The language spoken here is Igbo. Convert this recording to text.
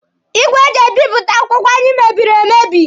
Igwe eji ebipụta akwụkwọ anyị mebiri emebi.